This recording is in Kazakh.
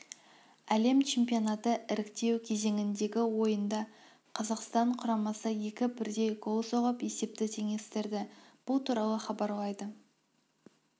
әлем чемпионаты іріктеу кезеңіндегі ойында қазақстан құрамасы екі бірдей гол соғып есепті теңестірді бұл туралы хабарлайды